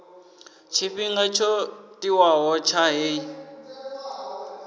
tshifhinga tsho tiwaho tsha heyi